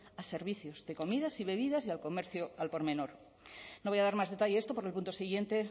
a servicios de comidas y bebidas y al comercio al por menor no voy a dar más detalles de esto porque en el punto siguiente